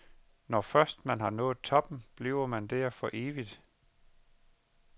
Når først man har nået toppen, bliver man der for evigt.